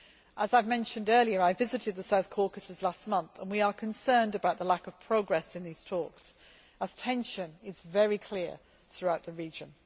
As I mentioned earlier, I visited the South Caucasus last month and we are concerned about the lack of progress in these talks, as tension is very clear throughout the region.